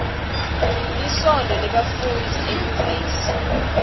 lisontfo lebafundzi enyuvesi